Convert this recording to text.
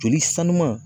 Joli sanuya